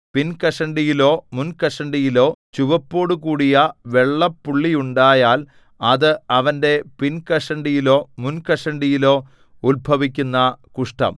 പിൻകഷണ്ടിയിലോ മുൻകഷണ്ടിയിലോ ചുവപ്പോടുകൂടിയ വെള്ളപ്പുള്ളിയുണ്ടായാൽ അത് അവന്റെ പിൻകഷണ്ടിയിലോ മുൻകഷണ്ടിയിലോ ഉത്ഭവിക്കുന്ന കുഷ്ഠം